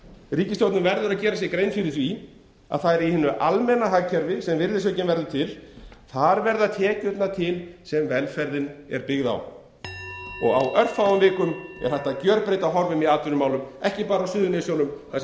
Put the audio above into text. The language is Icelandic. ríkisstjórnin verður að gera sér grein fyrir því að virðisaukinn verður til í hinu almenna hagkerfi þar verða tekjurnar til sem velferðin er byggð á á örfáum vikum er hægt að gjörbreyta horfum í atvinnumálum ekki bara á suðurnesjunum þar